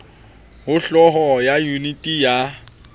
ho hloho ya yuniti ya